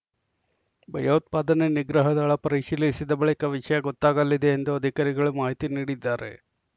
ಭಯೋತ್ಪಾದನೆ ನಿಗ್ರಹ ದಳ ಪರಿಶೀಲಿಸಿದ ಬಳಿಕ ವಿಷಯ ಗೊತ್ತಾಗಲಿದೆ ಎಂದು ಅಧಿಕಾರಿಗಳು ಮಾಹಿತಿ ನೀಡಿದ್ದಾರೆ